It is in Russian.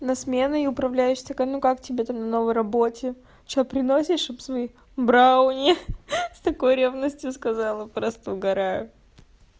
на смены управляющий закону как тебе там на новой работе что приносит чтобы свои брауни в такой ревности сказала просто угараю